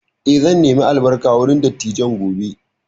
Eh, zan nemi albarka wurin dattijan gobe